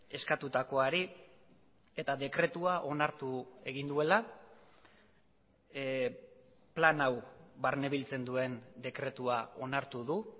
eskatutakoari eta dekretua onartu egin duela plan hau barnebiltzen duen dekretua onartu du